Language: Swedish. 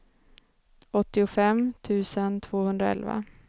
åttiofem tusen tvåhundraelva